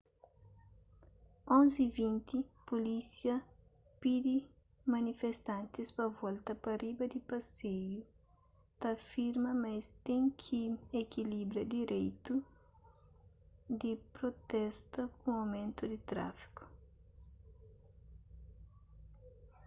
11:20 pulísia pidi manifestantis pa volta pa riba di paseiu ta afirma ma es ten ki ekilibra direitu di protesta ku aumentu di tráfiku